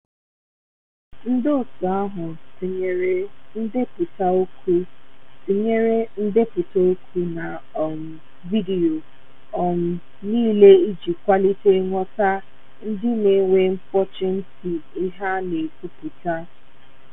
Ndi otu ahụ tinyere ndepụta okwu tinyere ndepụta okwu na um vidiyo um niile iji kwalite nghọta ndi na enwe mkpochi nti ihe a na-ekwupụta